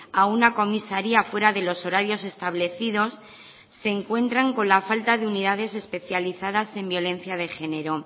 a una comisaría fuera de los horarios establecidos se encuentran con la falta de unidades especializadas en violencia de género